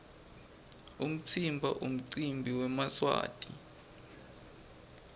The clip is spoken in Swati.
umtsimba nqumcimbi wemaswati